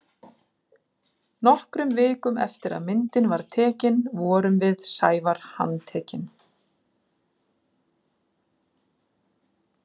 Nokkrum vikum eftir að myndin var tekin vorum við Sævar handtekin.